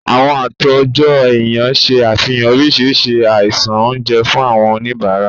Àwọn àtòjọ-ẹ̀yàn ṣe àfihàn oríṣiríṣi àṣàyàn oúnjẹ fún àwọn oníbàárà.